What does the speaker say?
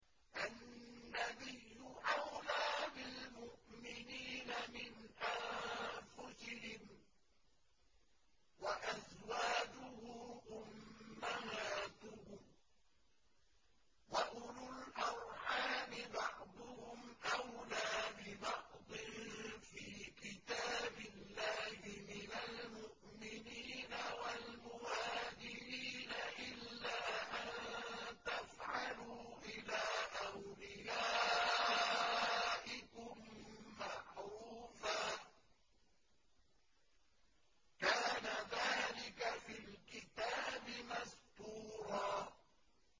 النَّبِيُّ أَوْلَىٰ بِالْمُؤْمِنِينَ مِنْ أَنفُسِهِمْ ۖ وَأَزْوَاجُهُ أُمَّهَاتُهُمْ ۗ وَأُولُو الْأَرْحَامِ بَعْضُهُمْ أَوْلَىٰ بِبَعْضٍ فِي كِتَابِ اللَّهِ مِنَ الْمُؤْمِنِينَ وَالْمُهَاجِرِينَ إِلَّا أَن تَفْعَلُوا إِلَىٰ أَوْلِيَائِكُم مَّعْرُوفًا ۚ كَانَ ذَٰلِكَ فِي الْكِتَابِ مَسْطُورًا